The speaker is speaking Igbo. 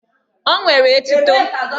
O nwere etuto!